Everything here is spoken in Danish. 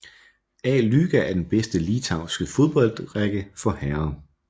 A lyga er den bedste litauiske fodboldrække for herrer